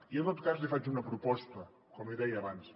i en tot cas li faig una proposta com li deia abans